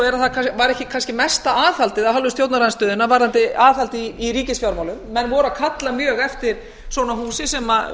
er að það var kannski ekki mesta aðhaldið af hálfu stjórnarandstöðunnar varðandi aðhald í ríkisfjármálum menn voru að kalla mjög eftir svona húsi sem